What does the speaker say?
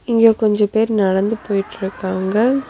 இங்க கொஞ்ச பேர் நடந்து போயிட்ருக்காங்க.